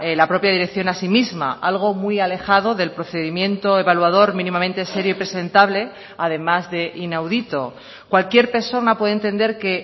la propia dirección a sí misma algo muy alejado del procedimiento evaluador mínimamente serio y presentable además de inaudito cualquier persona puede entender que